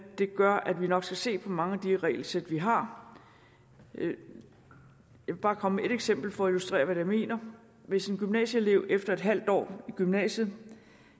det gør at vi nok skal se på mange af de regelsæt vi har jeg vil bare komme med et eksempel for at illustrere hvad jeg mener hvis en gymnasieelev efter en halv år i gymnasiet